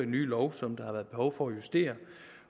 nye lov som der har været behov for at justere